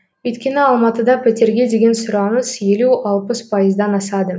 өйткені алматыда пәтерге деген сұраныс елу алпыс пайыздан асады